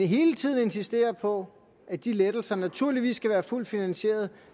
hele tiden insisterer på at de lettelser naturligvis skal være fuldt finansieret